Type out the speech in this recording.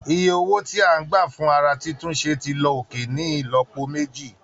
Iye owó tí a ń gbà fún ara títún ṣe ti lọ òkè ní ìlọ́po méjì